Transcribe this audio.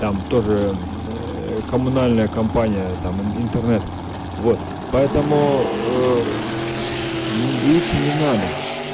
там тоже коммунальная компания там интернет вот поэтому лучше не надо